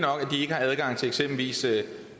ikke har adgang til eksempelvis